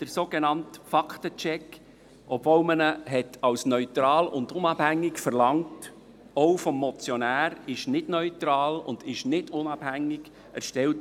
Der sogenannte Faktencheck ist nicht neutral und nicht unabhängig erstellt worden, obwohl man einen neutralen und unabhängigen Faktencheck verlangt hat.